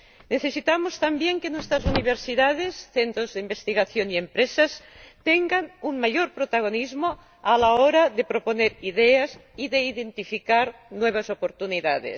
Necesitamos también que nuestras universidades, centros de investigación y empresas tengan un mayor protagonismo a la hora de proponer ideas y de identificar nuevas oportunidades.